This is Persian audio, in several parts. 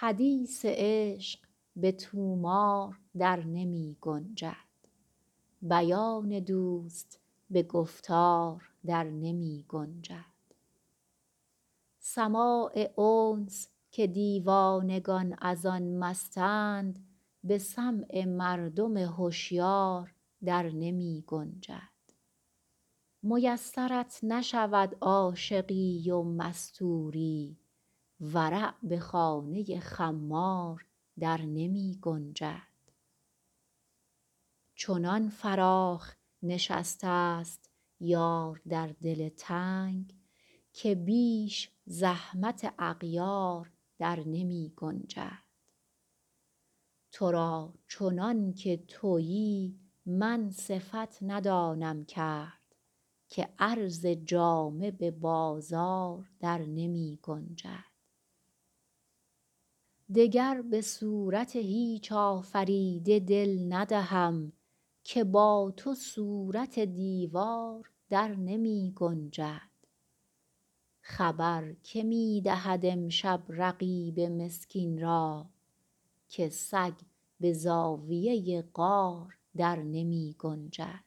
حدیث عشق به طومار در نمی گنجد بیان دوست به گفتار در نمی گنجد سماع انس که دیوانگان از آن مستند به سمع مردم هشیار در نمی گنجد میسرت نشود عاشقی و مستوری ورع به خانه خمار در نمی گنجد چنان فراخ نشسته ست یار در دل تنگ که بیش زحمت اغیار در نمی گنجد تو را چنان که تویی من صفت ندانم کرد که عرض جامه به بازار در نمی گنجد دگر به صورت هیچ آفریده دل ندهم که با تو صورت دیوار در نمی گنجد خبر که می دهد امشب رقیب مسکین را که سگ به زاویه غار در نمی گنجد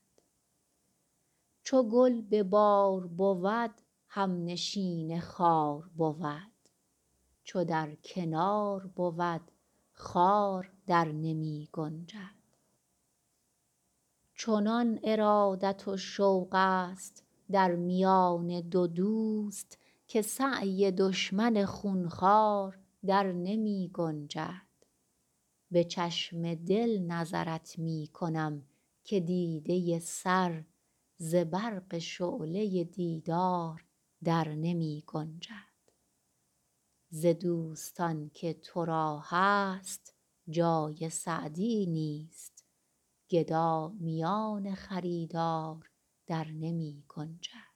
چو گل به بار بود همنشین خار بود چو در کنار بود خار در نمی گنجد چنان ارادت و شوق ست در میان دو دوست که سعی دشمن خون خوار در نمی گنجد به چشم دل نظرت می کنم که دیده سر ز برق شعله دیدار در نمی گنجد ز دوستان که تو را هست جای سعدی نیست گدا میان خریدار در نمی گنجد